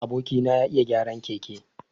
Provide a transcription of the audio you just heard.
Aboki na ya iya gyaran keke.